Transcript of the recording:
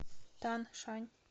таншань